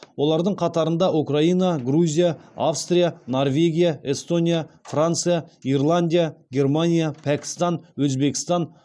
олардың қатарында украина грузия австрия норвегия эстония франция ирландия германия пәкістан өзбекстан